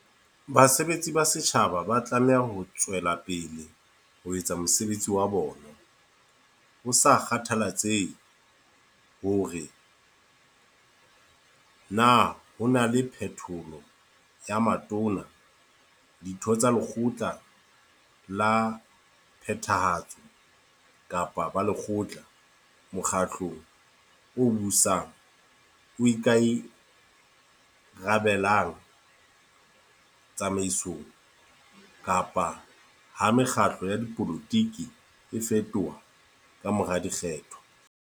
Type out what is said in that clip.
Basebetsi ba setjhaba ba tlameha ho tswe lapele ho etsa mosebetsi wa bona "ho sa kgathalatsehe hore na ho na le phetholo ya Matona, Ditho tsa Lekgotla la Phethahatso kapa Balekgotla mokgatlong o busang o ika rabellang tsamaisong, kapa ha mekgatlo ya dipolotiki e fetoha ka mora dikgetho".